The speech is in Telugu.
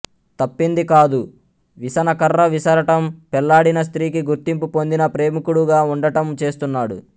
తప్పిందికాదు విసనకర్ర విసరటం పెళ్ళాడిన స్త్రీకి గుర్తింపు పొందిన ప్రేమికుడుగా ఉండటం చేస్తున్నాడు